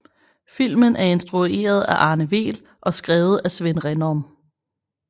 Filmen er instrueret af Arne Weel og skrevet af Svend Rindom